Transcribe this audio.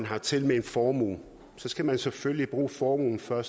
hertil med en formue skal man selvfølgelig bruge formuen før